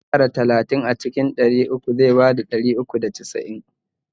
Idan aka ƙara talatin akan ɗari uku da sittin zai bada ɗari uku da casa'in